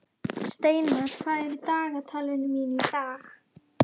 Steinar, hvað er á dagatalinu mínu í dag?